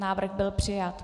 Návrh byl přijat.